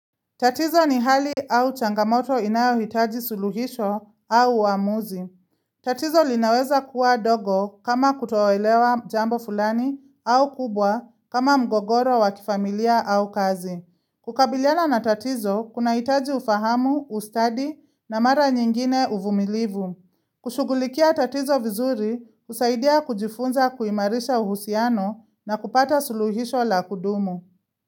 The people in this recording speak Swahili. Tatizo ni hali au changamoto inayo hitaji suluhisho au uamuzi. Tatizo linaweza kuwa dogo kama kutoelewa jambo fulani au kubwa kama mgogoro wakifamilia au kazi. Kukabiliana na tatizo, kuna hitaji ufahamu, ustadi na mara nyingine uvumilivu. Kushugulikia tatizo vizuri, usaidia kujifunza kuimarisha uhusiano na kupata suluhisho la kudumu.